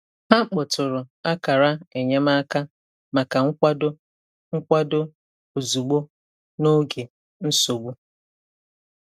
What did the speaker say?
Ha kpọtụrụ akara enyemaka maka nkwado nkwado ozugbo n'oge nsogbu.